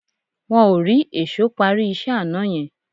Wọ́n ò rí èṣó parí iṣẹ́ àná yẹn